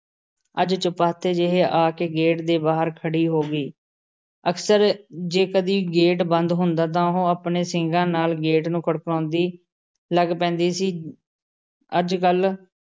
ਅੱਜ ਚੁਪਾਤੇ ਜਿਹੇ ਆ ਕੇ ਗੇਟ ਦੇ ਬਾਹਰ ਖੜੀ ਹੋ ਗਈ । ਅਕਸਰ ਜੇ ਕਦੀ ਗੇਟ ਬੰਦ ਹੁੰਦਾ ਤਾਂ ਉਹ ਆਪਣੇ ਸਿੰਗਾਂ ਨਾਲ਼ ਗੇਟ ਨੂੰ ਖੜਕਾਉਂਦੀ ਲੱਗ ਪੈਂਦੀ ਸੀ । ਅੱਜ ਕੱਲ